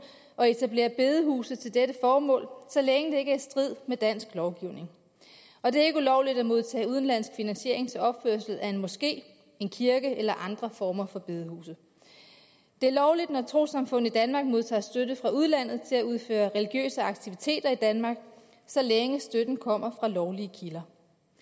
og etablere bedehuse til dette formål så længe det ikke er i strid med dansk lovgivning og det er ikke ulovligt at modtage udenlandsk finansiering til opførelse af en moské en kirke eller andre former for bedehuse det er lovligt når et trossamfund i danmark modtager støtte fra udlandet til at udføre religiøse aktiviteter i danmark så længe støtten kommer fra lovlige kilder